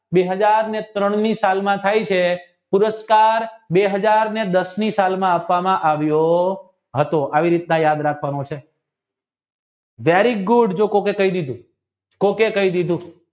બે હાજર ને ત્રણની સલમા થાય છે પુરષ્કાર બે હાજર ને દસ ની સલમા આપવામાં આવ્યો હતો આવી રીતના યાદ રાખવાનું very good જે કોકે કહી દીધું કોકે કહી દીધું